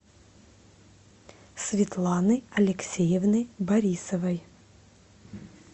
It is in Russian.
светланы алексеевны борисовой